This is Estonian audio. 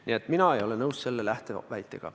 Nii et mina ei ole nõus selle lähteväitega.